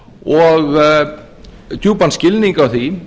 og djúpan skilning á því